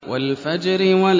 وَالْفَجْرِ